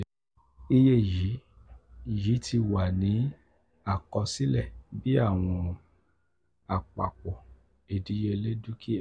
iye yi yi ti wa ni akosile bi awọn apapo idiyele dukia.